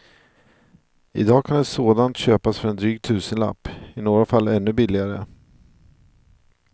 Idag kan ett sådant köpas för en dryg tusenlapp, i några fall ännu billigare.